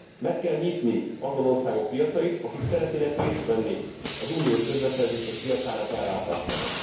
Meg kell nyitni azon országok piacait, akik szeretnének részt venni az uniós közbeszerzések piacának ellátásában.